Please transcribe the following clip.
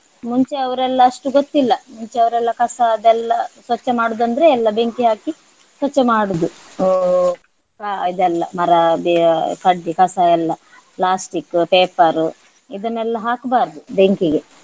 ಮುಂಚೆ ಅವರೆಲ್ಲ ಅಷ್ಟು ಗೊತ್ತಿಲ್ಲ ಮುಂಚೆ ಅವರೆಲ್ಲ ಕಸ ಅದೆಲ್ಲ ಸ್ವಚ್ಛ ಮಾಡುವುದಂದ್ರೆ ಎಲ್ಲ ಬೆಂಕಿ ಹಾಕಿ ಸ್ವಚ್ಛ ಮಾಡುದು. ಹಾ ಆ ಇದೆಲ್ಲ ಮರ ಕಡ್ಡಿ ಕಸ ಎಲ್ಲ plastic, paper ಇದನ್ನೆಲ್ಲ ಹಾಕ್ಬಾರ್ದು ಬೆಂಕಿಗೆ.